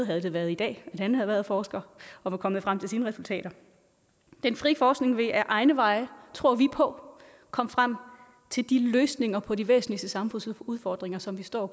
havde været i dag han havde været forsker og var kommet frem til sine resultater den frie forskning vil ad egne veje tror vi på komme frem til de løsninger på de væsentligste samfundsudfordringer som vi står